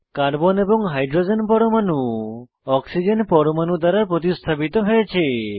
carbon এবং hydrogen পরমাণু oxygen পরমাণু দ্বারা প্রতিস্থাপিত হয়েছে